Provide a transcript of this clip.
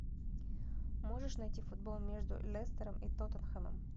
можешь найти футбол между лестером и тоттенхэмом